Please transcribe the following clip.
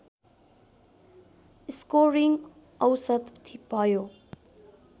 scoring औसत भयो